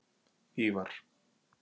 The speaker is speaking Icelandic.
Ívar